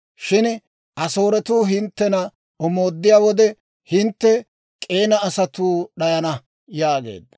Shin Asooretuu hinttena omooddiyaa wode, hintte K'eena asatuu d'ayana» yaageedda.